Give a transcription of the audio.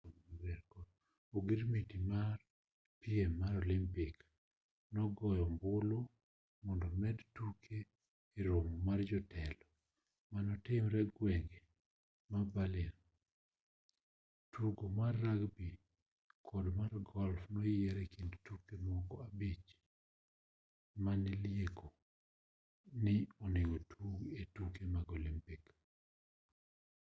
ogirmiti mar piem mar olimpik nogoyo ombulu mondo omed tuke e romo mar jotelo manotimre gwenge ma berlin ttugo mar rugby kod mar golf noyier e kind tuke moko abich manilieko ni onegotug e tuke mag olimpik